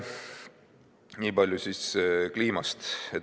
Nii palju siis kliimast.